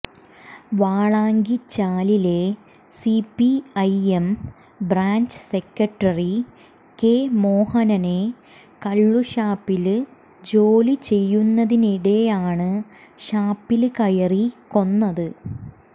വാളാങ്കിച്ചാലിലെ CPI M branch secretary K മോഹനനെ കള്ളുഷാപ്പില് ജോലി ചെയ്യുന്നതിനിടെയാണ് ഷാപ്പില് കയറി കൊന്നത്